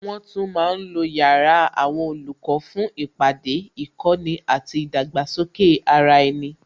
Wọn tún ma ń lo yàrá àwọn olùkọ́ fún ìpàdé, ìkọ́ni àti ìdàgbàsókè ara ẹni